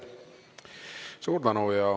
Suur tänu!